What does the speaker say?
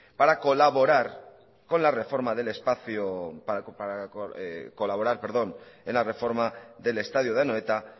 para colaborar en la reforma del estadio de anoeta